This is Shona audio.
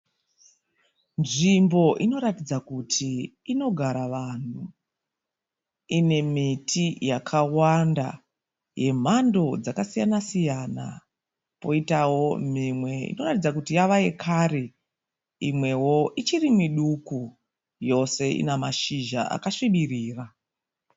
Nzvimbo inoratidza kuti inogara vanhu. Ine miti yakawanda yemhando dzakasiyana -siyana. Poitawo mimwe inoratidza kuti yava yekare. Imwewo ichiri miduku. Yose ina mashizha akasvibirira.